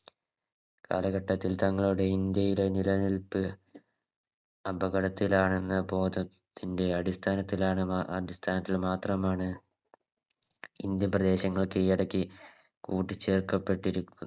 കാലഘട്ടത്തിൽ തങ്ങളുടെ ഇന്ത്യയുടെ നിലനിൽപ്പ് അപകടത്തിലാണെന്ന് ബോധം ത്തിൻറെ അടിസ്ഥാനത്തിലാണ് അടിസ്ഥാനത്തിൽ മാത്രമാണ് Indian പ്രദേശങ്ങൾ കീഴടക്കി കൂട്ടിച്ചേർക്കപ്പെട്ടിരിക്കു